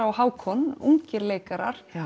og Hákon ungir leikarar